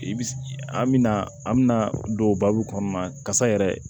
I bi an mi na an mi na don babu kɔnɔna na kasa yɛrɛ